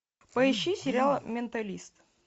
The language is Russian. поищи сериал менталист